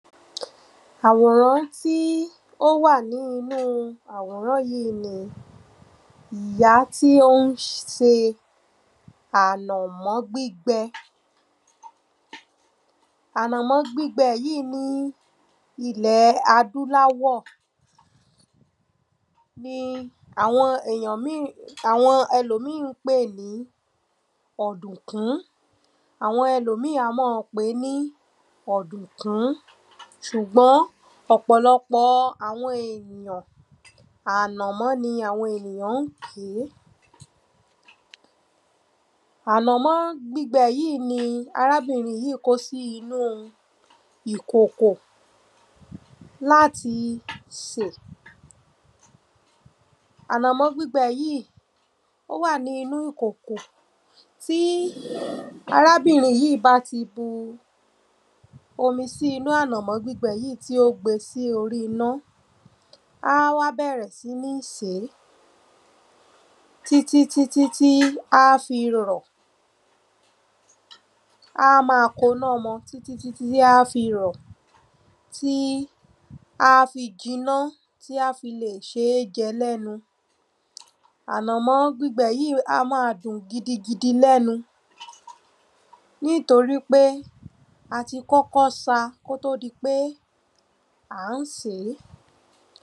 Àwòrán tí ó wà ní inú àwòrán yí ní iyá tí ó ń se ànò̩mó̩ gbígbe̩. Ànò̩mó̩ gbígbe̩ yíì ní ilè̩ adúláwò̩ ni àwo̩n míì àwo̩n e̩lòmíì ń pè ní ò̩dò̩kún. Àwo̩n e̩lòmíì a má a pè é ní ò̩dò̩kún. S̩ùgbó̩n ò̩kpò̩lo̩pò̩ àwo̩n èyàn ànàmó̩ ni àwo̩n ènìyàn ń pè é. Ànò̩mó̩ gbígbe̩ yíì ni arábìnrin yíì kó sínú ìkòkò láti sè. Ànò̩mó̩ gbígbe̩ yìí ó wà ní inú ìkòkò Tí arábìnrin yìí bá ti bu omi sí inú ànò̩mó̩ gbígbe̩ yíì tí ó gbe sórí iná á bè̩rè̩ sí ní sè é. Á wá má a koná mo̩ tí tí tí á fi rò̩, tí á fi jinná, tí á fi lè s̩é je̩ lé̩nu. Ànò̩mó̩ gbígbe̩ yìí a má a dùn gidi gidi le̩nu nítorípé a ti kó̩kó̩ sa kó tó di pé a ń sè é.